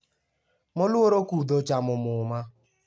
Moluor Okudho ochamo muma